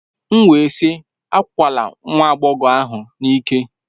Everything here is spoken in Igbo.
M wee sị, akwala nwa agbọghọ ahụ n'ike!